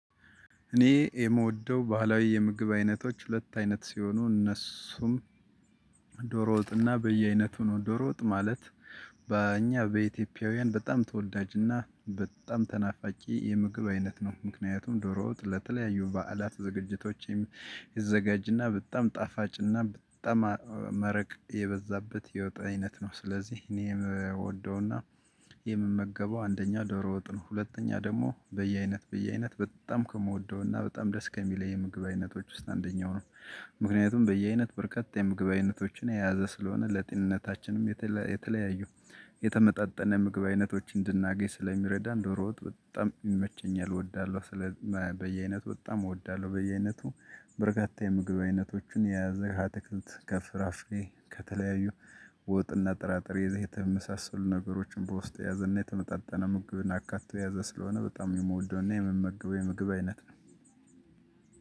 እኔ የምወደው ባህላዊ የምግብ አይነቶች ሁለት አይነት ሲሆኑ እነሱም ዶሮ ወጥና በየአይነቱ ነው ዶሮ ወጥ ማለት በእኛ በኢትዮጵያውያን በጣም ተወዳጅና በጣም ተናፋቂ የምግብ አይነት ነው። ምክንያቱም ዶሮ ውጥ ለተለያዩ በዓላት ዝግጅቶች ይዘጋጅና በጣም ጣፋጭና በጣም መረቅ የበዛበት የወጥ አይነት ነው። ስለዚህ እኔም እምወደውና የምመገበው አንደኛ ዶሮ ወጥ ነው። ሁለተኛ ደግሞ በየአይነት በየአይነት በጣም ከምወደውና በጣም ደስ ከሚለኝ የምግብ አይነቶች ውስጥ አንደኛው ነው። ምክንያቱም በየአይነት በርካታ የምግብ አይነቶችን የያዘ ስለሆነ ለጤንነታችንም የተለያዩ የተመጣጠነ ምግብ አይነቶች እንድናገኝ ስለሚረዳን ዶሮ ወጥ በጣም ይመቸኛል እወዳለሁ። በየአይነት በጣም እወዳለሁ በየአይነቱ በርካታ የምግብ አይነቶችን የያዘ ከአትክልት ከፍራፍሬ ከተለያዩ ወጥና ጥራጥሬ የተመሳሰሉ ነገሮችን በውስጥ ያዘና የተመጣጠነ ምግብን አካቶ ያዘ ስለሆነ በጣም የምወደውና የምመገበው የምግብ አይነት ነው።